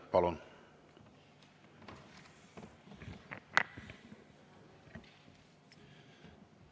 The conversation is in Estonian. Palun!